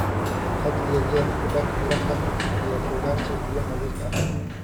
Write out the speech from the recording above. Had iyo jeer ku dhaq miraha iyo khudaarta biyo nadiif ah.